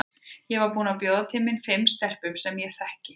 Ég var búin að bjóða til mín fimm stelpum sem ég þekki.